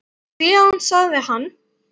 Síðan sagði hann